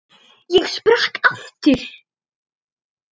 Ég sprakk aftur.